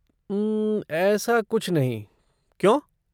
उम्म, ऐसा कुछ नहीं, क्यों?